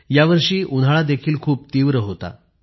यावर्षी उन्हाळा देखील खूप तीव्र होता